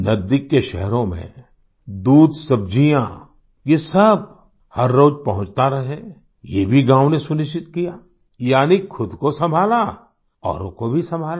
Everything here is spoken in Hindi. नजदीक के शहरों में दूधसब्जियाँ ये सब हर रोज पहुंचता रहे ये भी गाँवों ने सुनिश्चित कियायानी ख़ुद को संभाला औरों को भी संभाला